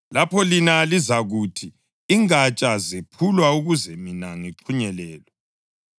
Lapho-ke lina lizakuthi, “Ingatsha zephulwa ukuze mina ngixhunyelelwe.”